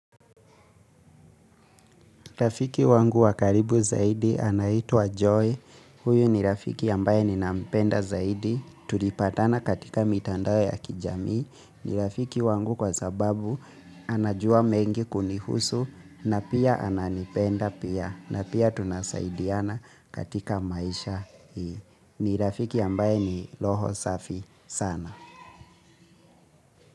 Rafiki wangu wakaribu zaidi anaitwa Joy. Huyo ni rafiki ambaye ninampenda zaidi tulipatana katika mitandao ya kijami. Ni rafiki wangu kwa sababu anajua mengi kunihusu na pia ananipenda pia na pia tunasaidiana katika maisha hii. Ni rafiki ambaye ni roho safi sana.